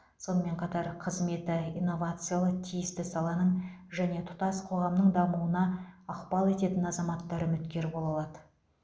сонымен қатар қызметі инновациялы тиісті саланың және тұтас қоғамның дамуына ықпал ететін азаматтар үміткер бола алады